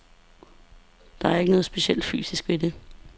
Der er ikke noget specielt fysisk ved det.